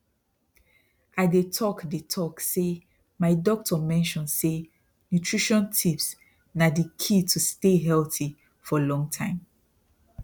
i they talk they talk say my doctor mention say nutrition tips na they key to stay healthy for long time